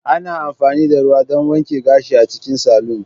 Ana amfani da ruwa don wanke gashi a cikin salon.